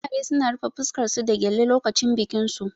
Amare suna rufe fuskar su da gyale lokacin bikin su